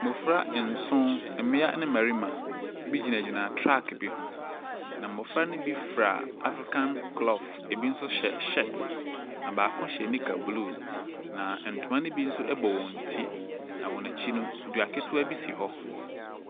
Mmofra nson, mmea ne mmarima bi gyinagyina truck bi ho, na mmɔfra ne bi fura African cloth, bi nso hyɛ shirt. Na baako hyɛ knicker blue na ntoma ne bi nso bɔ wɔn ti. Na wɔn akyi no, dua ketewa bi si wɔ.